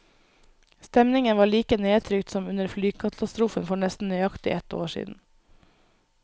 Stemningen var like nedtrykt som under flykatastrofen for nesten nøyaktig ett år siden.